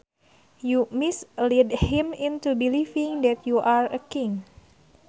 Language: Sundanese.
You mislead him into believing that you are a king